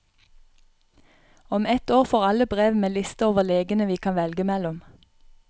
Om ett år får alle brev med liste over legene vi kan velge mellom.